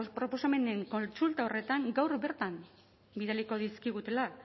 ebazpen proposamenen kontsulta horretan gaur bertan bidaliko dizkigutela